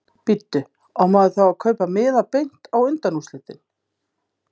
Bíddu. á maður þá að kaupa miða beint á undanúrslitin?